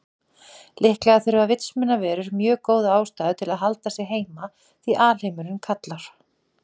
Líklega þurfa vitsmunaverur mjög góða ástæðu til að halda sig heima því alheimurinn kallar.